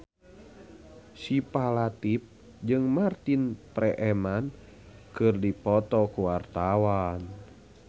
Syifa Latief jeung Martin Freeman keur dipoto ku wartawan